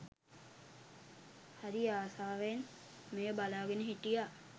හරි ආසාවෙන් මෙය බලාගෙන හිටියා